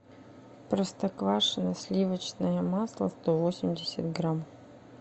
простоквашино сливочное масло сто восемьдесят грамм